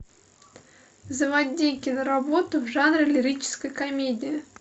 заводи киноработу в жанре лирической комедии